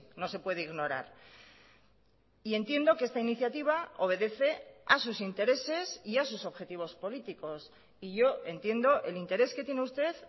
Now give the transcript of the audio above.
no se puede ignorar y entiendo que esta iniciativa obedece a sus intereses y a sus objetivos políticos y yo entiendo el interés que tiene usted